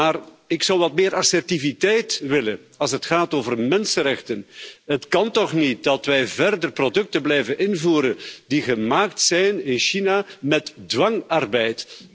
Maar ik zou wat meer assertiviteit willen als het gaat over mensenrechten. Het kan toch niet dat wij verder producten blijven invoeren die in China gemaakt zijn met dwangarbeid?